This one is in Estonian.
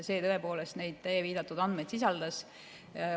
See tõepoolest neid teie viidatud andmeid sisaldas.